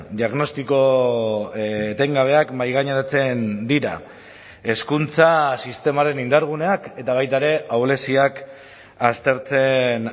diagnostiko etengabeak mahaigaineratzen dira hezkuntza sistemaren indarguneak eta baita ere ahuleziak aztertzen